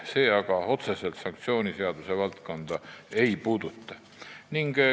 See aga otseselt sanktsiooniseaduse valdkonda ei puuduta.